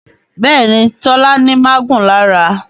Béèni Tola ní magun lára.